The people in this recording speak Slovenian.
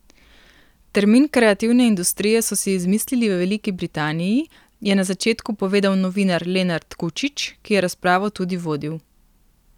Termin kreativne industrije so si izmislili v Veliki Britaniji, je na začetku povedal novinar Lenart Kučič, ki je razpravo tudi vodil.